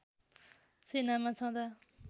सेनामा छँदा